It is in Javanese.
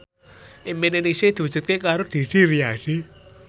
impine Ningsih diwujudke karo Didi Riyadi